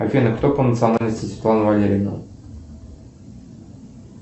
афина кто по национальности светлана валерьевна